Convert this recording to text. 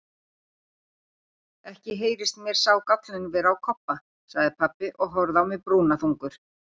Ekki heyrist mér sá gállinn vera á Kobba, sagði pabbi og horfði á mig brúnaþungur.